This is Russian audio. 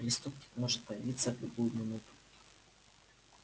преступник может появиться в любую минуту